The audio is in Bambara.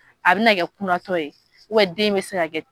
A bɛna kɛ kunatɔ ye den bɛ se ka